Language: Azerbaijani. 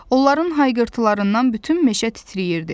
Onların hayqırtılarından bütün meşə titrəyirdi.